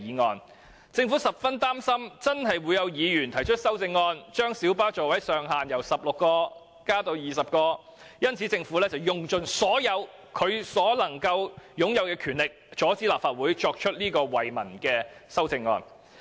由於政府十分擔心會有議員提出修正案，將小巴座位上限由16個增至20個，故此便用盡其擁有的所有權力，阻止立法會提出這項惠民的修正案。